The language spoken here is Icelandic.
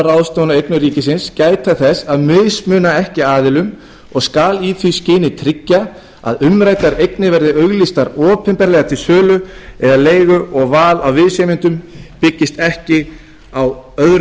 ráðstöfun eigna ríkisins gæta þess að mismuna ekki aðilum og skal í því skyni tryggja að umræddar eignir verði auglýstar opinberlega til sölu eða leigu og val á viðsemjendum byggist ekki á öðrum